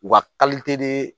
U ka